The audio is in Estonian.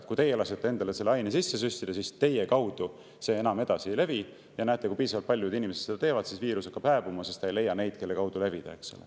Et kui teie lasete endale selle aine sisse süstida, siis teie kaudu see enam edasi ei levi, ja kui piisavalt paljud inimesed seda teevad, siis viirus hakkab hääbuma, sest ta ei leia neid, kelle kaudu levida.